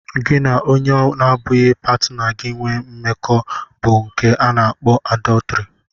Gị na onye n'abughị pátinà gi nwé mmekọ bu nke a na akpọ àdọtrị